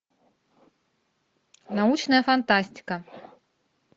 научная фантастика